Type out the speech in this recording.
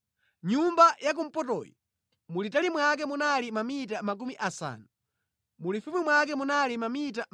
Nyumba yakumpotoyi mulitali mwake munali mamita makumi asanu, mulifupi mwake munali mamita 25.